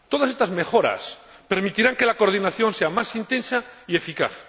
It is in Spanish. Estas mejoras permitirán que la coordinación sea más intensa y eficaz